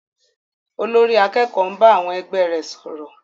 Olórí àkẹ́kòó ń bá àwọn ẹgbẹ́ rẹ̀ sọ̀rọ̀.